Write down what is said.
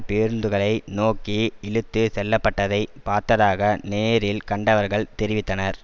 பேருந்துகளை நோக்கி இழுத்து செல்லப்பட்டதை பார்த்ததாக நேரில் கண்டவர்கள் தெரிவித்தனர்